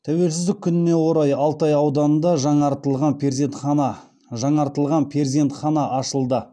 тәуелсіздік күніне орай алтай ауданында жаңартылған перзентхана ашылады